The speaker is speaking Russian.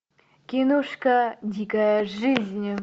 киношка дикая жизнь